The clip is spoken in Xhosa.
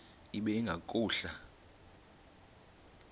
ibe ingahluka nanga